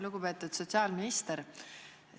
Lugupeetud sotsiaalminister!